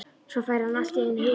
Svo fær hann allt í einu hugmynd.